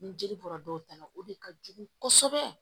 Ni jeli bɔra dɔw ta la o de ka jugu kosɛbɛ